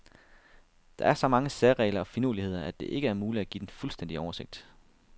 Der er så mange særregler og finurligheder, at det ikke er muligt at give den fuldstændige oversigt.